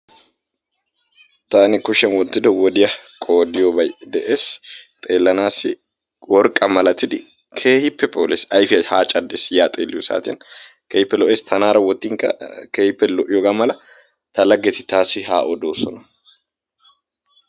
Taani kushiyaan wottido wodiya qoodiyoobay de'ees, xeellanassi worqqa malattidi keehippe phooles. Ayfiyaa ha caddees ya xeelliyo saatiya, keehippe lo''eess, tanaara wottinkka keehippe lo''iyoogo mala ta laggeti taassi ha oddoosona.